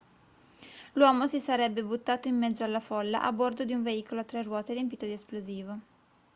l'uomo si sarebbe buttato in mezzo alla folla a bordo di un veicolo a tre ruote riempito di esplosivo